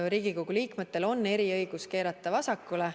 Riigikogu liikmetel on eriõigus keerata vasakule.